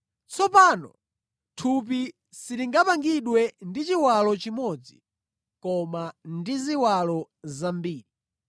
Tsopano thupi silinapangidwe ndi chiwalo chimodzi koma ndi ziwalo zambiri.